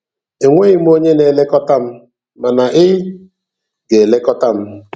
E nweghi m onye na-elekọta m, mana ị ga-elekọta m.